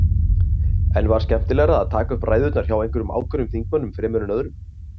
En var skemmtilegra að taka upp ræðurnar hjá einhverjum ákveðnum þingmönnum fremur en öðrum?